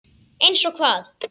Eins og hvað?